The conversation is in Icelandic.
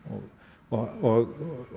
og